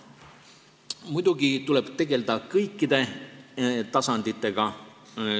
Muidugi tuleb tegelda kõikide tasanditega.